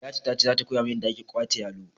Liyatu tace zata koyamin yadda ake gwate yalo